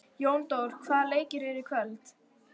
Jóndór, hvaða leikir eru í kvöld?